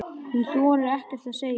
Hún þorir ekkert að segja.